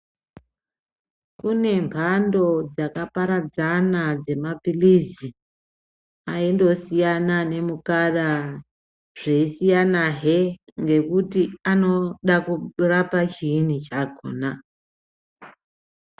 Kune mhando dzakaparadzana dzemapilizi aindosiyana nemukara zveyisiyanahe kuti anoda kurapa chiinyi chakona.